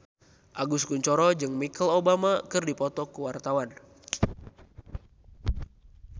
Agus Kuncoro jeung Michelle Obama keur dipoto ku wartawan